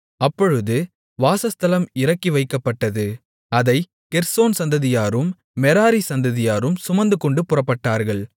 அப்பொழுது வாசஸ்தலம் இறக்கி வைக்கப்பட்டது அதைக் கெர்சோன் சந்ததியாரும் மெராரி சந்ததியாரும் சுமந்துகொண்டு புறப்பட்டார்கள்